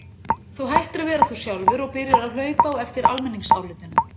Þú hættir að vera þú sjálfur og byrjar að hlaupa á eftir almenningsálitinu.